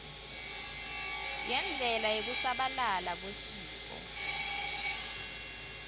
yendlela yekusabalala kwesitfo